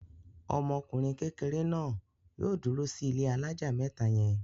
Ọmọkùnrin kékeré náà yóò dúró sí ilé alájà mẹ́ta yẹn!